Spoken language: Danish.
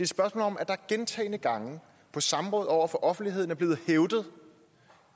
spørgsmål om at der gentagne gange på samråd over for offentligheden er blevet hævdet